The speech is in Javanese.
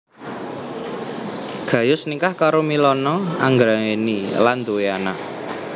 Gayus nikah karo Milana Anggraeni lan duwé anak